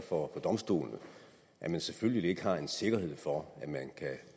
for domstolene at man selvfølgelig ikke har en sikkerhed for at